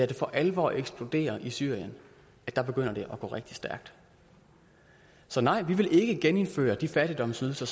det for alvor eksploderer i syrien og der begynder det at gå rigtig stærkt så nej vi vil ikke genindføre de fattigdomsydelser